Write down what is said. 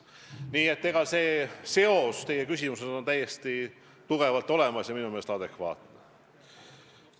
Nii et nende valdkondade seos teie küsimuse puhul on täiesti tugevalt olemas ja minu meelest on see adekvaatne.